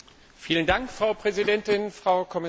Frau Präsidentin, Frau Kommissarin!